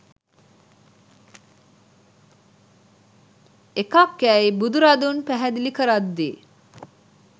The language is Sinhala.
එකක් යයි බුදුරදුන් පැහැදිලි කරද්දී